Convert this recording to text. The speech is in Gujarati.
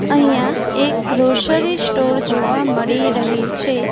અહીંયા એક ગ્રોસરી સ્ટોર જોવા મળી રહે છે.